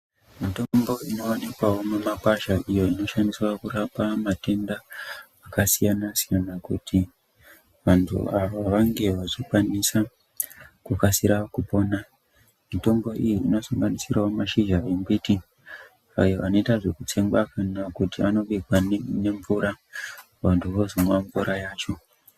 Mitombo inoonekwawo mumakwasha iyo inoshandiswa kuurapa matenda akasiyanasiyana kuti vantu ava vanga vachikwanisa kukasira kupona mitombo iyi inosanganisirawo mashizha embiti ayo anoita zveekutsengwa kana kuti anobikwa nemvura vanhu vozomwa mvura yacho.